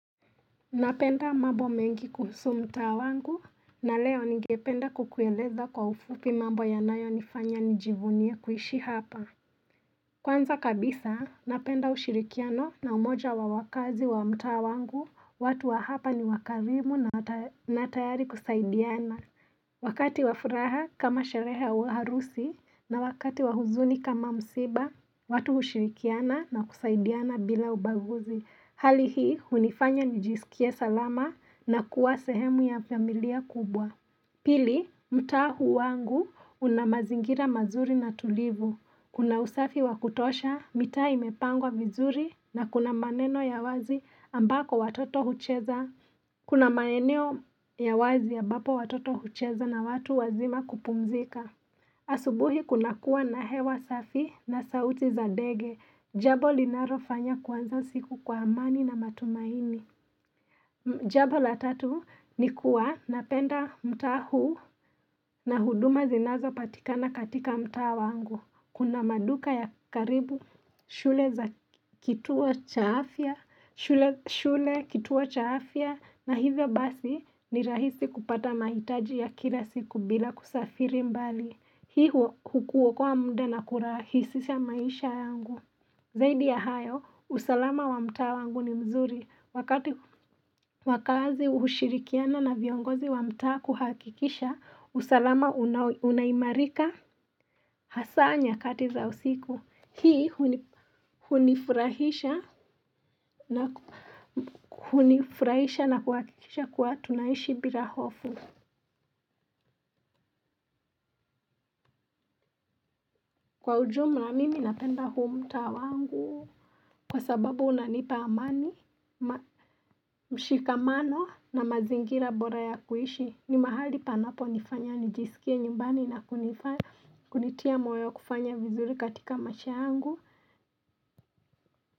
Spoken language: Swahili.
Napenda mambo mengi kuhusu mtaa wangu na leo ningependa kukueleza kwa ufupi mambo yanayonifanya nijivunie kuishi hapa. Kwanza kabisa napenda ushirikiano na umoja wa wakazi wa mta wangu watu wa hapa ni wakarimu na tayari kusaidiana. Wakati wa furaha kama sherehe au harusi na wakati wa huzuni kama msiba watu hushirikiana na kusaidiana bila ubaguzi. Hali hii, hunifanya nijisikie salama na kuwa sehemu ya familia kubwa. Pili, mtaa huu wangu unamazingira mazuri na tulivu. Kuna usafi wakutosha, mitaa imepangwa vizuri na kuna maneno ya wazi ambako watoto hucheza. Kuna maeneo ya wazi ambapo watoto hucheza na watu wazima kupumzika. Asubuhi kuna kuwa na hewa safi na sauti za ndege. Jabo linalofanya kuanza siku kwa amani na matumaini. Jambo la tatu ni kuwa napenda mtaa huu na huduma zinazo patikana katika mtaa wangu. Kuna maduka ya karibu, shule za kituo cha afya, shule kituo cha afya, na hivyo basi ni rahisi kupata mahitaji ya kila siku bila kusafiri mbali. Hii huokoa muda na kurahisisha maisha yangu. Zaidi ya hayo, usalama wa mtaa wangu ni mzuri. Wakati wakaazi hushirikiana na viongozi wa mtaa kuhakikisha, usalama unaimarika hasa nyakati za usiku. Hii hunifurahisha na kuhakikisha kuwa tunaishi bila hofu. Kwa ujumula mimi napenda huu mtaa wangu kwa sababu unanipa amani mshikamano na mazingira bora ya kuishi ni mahali panaponifanya nijisikie nyumbani na kunitia moyo kufanya vizuri katika maisha yangu.